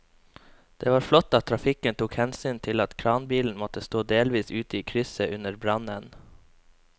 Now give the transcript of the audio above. Det var flott at trafikken tok hensyn til at kranbilen måtte stå delvis ute i krysset under brannen.